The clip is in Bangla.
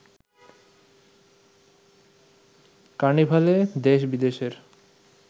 কার্নিভালে দেশ বিদেশের